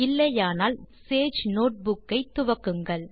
இல்லையானால் வீடியோ ஐ பாஸ் செய்து சேஜ் நோட்புக் ஐ துவக்குங்கள்